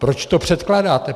Proč to předkládáte?